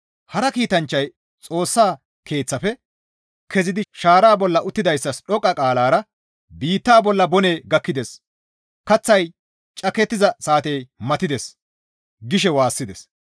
Hara kiitanchchay Xoossa Keeththafe kezidi shaara bolla uttidayssas dhoqqa qaalara, «Biitta bolla boney gakkides! Kaththay cakettiza saatey matides» gishe waassides.